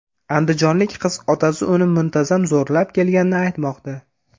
Andijonlik qiz otasi uni muntazam zo‘rlab kelganini aytmoqda.